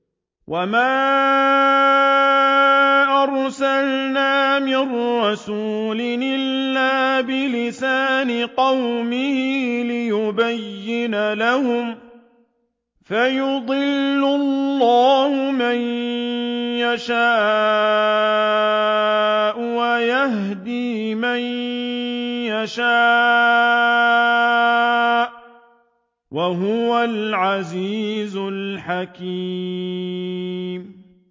وَمَا أَرْسَلْنَا مِن رَّسُولٍ إِلَّا بِلِسَانِ قَوْمِهِ لِيُبَيِّنَ لَهُمْ ۖ فَيُضِلُّ اللَّهُ مَن يَشَاءُ وَيَهْدِي مَن يَشَاءُ ۚ وَهُوَ الْعَزِيزُ الْحَكِيمُ